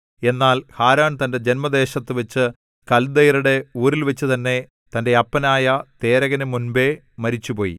എന്നാൽ ഹാരാൻ തന്‍റെ ജന്മദേശത്തു വച്ച് കൽദയരുടെ ഊരിൽവച്ചു തന്നെ തന്റെ അപ്പനായ തേരഹിനു മുമ്പെ മരിച്ചുപോയി